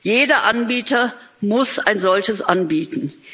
Jeder Anbieter muss ein solches anbieten.